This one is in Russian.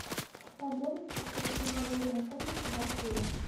подробности про переговорную комнату в отеле